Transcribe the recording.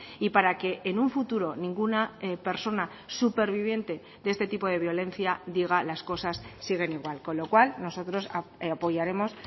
y para que en un futuro ninguna persona superviviente de este tipo de violencia diga las cosas siguen igual con lo cual nosotros apoyaremos